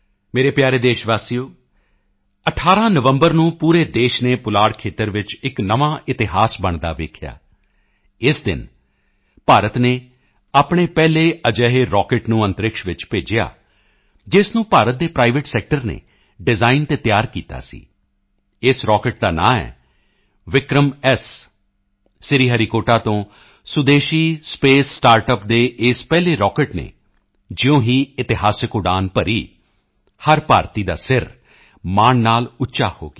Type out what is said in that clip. ਮੇਰੇ ਪਿਆਰੇ ਦੇਸ਼ਵਾਸੀਓ 18 ਨਵੰਬਰ ਨੂੰ ਪੂਰੇ ਦੇਸ਼ ਨੇ ਪੁਲਾੜ ਖੇਤਰ ਵਿੱਚ ਇੱਕ ਨਵਾਂ ਇਤਿਹਾਸ ਬਣਦਾ ਦੇਖਿਆ ਇਸ ਦਿਨ ਭਾਰਤ ਨੇ ਆਪਣੇ ਪਹਿਲੇ ਅਜਿਹੇ ਰਾਕੇਟ ਨੂੰ ਪੁਲਾੜ ਚ ਭੇਜਿਆ ਜਿਸ ਨੂੰ ਭਾਰਤ ਦੇ ਪ੍ਰਾਈਵੇਟ ਸੈਕਟਰ ਨੇ ਡਿਜ਼ਾਈਨ ਅਤੇ ਤਿਆਰ ਕੀਤਾ ਸੀ ਇਸ ਰਾਕੇਟ ਦਾ ਨਾਂ ਹੈ ਵਿਕਰਮ ਐੱਸ ਸ਼੍ਰੀ ਹਰੀਕੋਟਾ ਤੋਂ ਸੁਦੇਸ਼ੀ ਸਪੇਸ ਸਟਾਰਟਅੱਪ ਦੇ ਇਸ ਪਹਿਲੇ ਰਾਕੇਟ ਨੇ ਜਿਉਂ ਹੀ ਇਤਿਹਾਸਿਕ ਉਡਾਨ ਭਰੀ ਹਰ ਭਾਰਤੀ ਦਾ ਸਿਰ ਮਾਣ ਨਾਲ ਉੱਚਾ ਹੋ ਗਿਆ